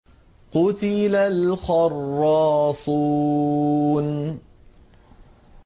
قُتِلَ الْخَرَّاصُونَ